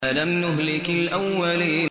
أَلَمْ نُهْلِكِ الْأَوَّلِينَ